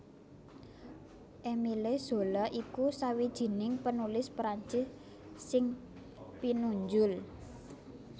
Émile Zola iku sawijining penulis Prancis sing pinunjul